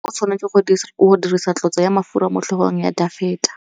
Samuele o tshwanetse go dirisa tlotsô ya mafura motlhôgong ya Dafita.